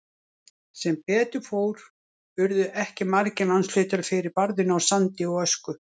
Sem betur fór urðu ekki margir landshlutar fyrir barðinu á sandi og ösku.